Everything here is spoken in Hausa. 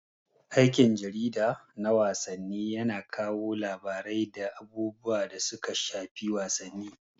Aikin jarida na wasanni yana kawo labarai da abubuwan da suka shafi wasanni.